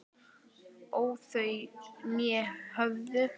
óð þau né höfðu